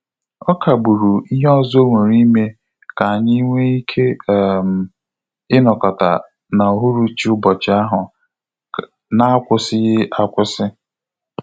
Ọ kagburu ihe ọzọ onwere ime ka anyị nwe ike um inokota na uhuruchi ụbọchị ahụ na akwusighi akwụsị